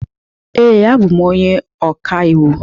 Ee, abụ m onye ọkàiwu.